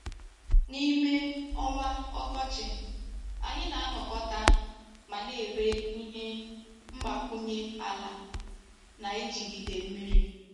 N'ime ọnwa ọkọchị, anyị na-anakọta ma na-ere ihe mgbakwunye ala na-ejigide mmiri.